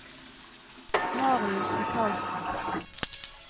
Marius Michaelsen